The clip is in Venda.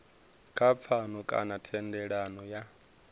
kha pfano kana thendelano ya